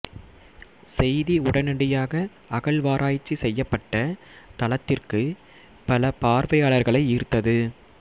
செய்தி உடனடியாக அகழ்வாராய்ச்சி செய்யப்பட்ட தளத்திற்கு பல பார்வையாளர்களை ஈர்த்தது